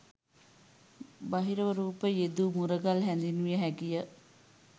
බහිරව රූප යෙදූ මුරගල හැඳින්විය හැකිය.